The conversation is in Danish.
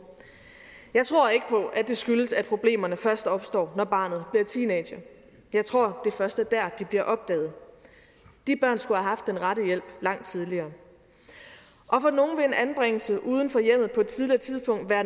jeg tror at det skyldes at problemerne først opstår når barnet bliver teenager jeg tror at det først er dér de bliver opdaget de børn skulle have haft den rette hjælp langt tidligere og for nogle vil en anbringelse uden for hjemmet på et tidligere tidspunkt være